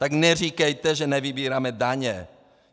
Tak neříkejte, že nevybíráme daně!